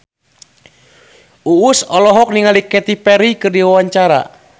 Uus olohok ningali Katy Perry keur diwawancara